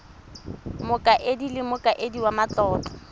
mokaedi le mokaedi wa matlotlo